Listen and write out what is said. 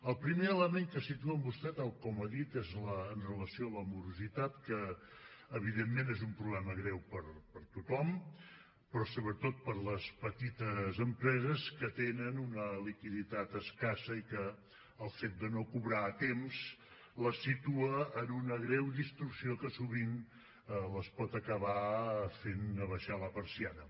el primer element que situa vostè tal com ha dit és amb relació a la morositat que evidentment és un problema greu per a tothom però sobretot per a les petites empreses que tenen una liquiditat escassa i que el fet de no cobrar a temps les situa en una greu distorsió que sovint els pot acabar fent abaixar la persiana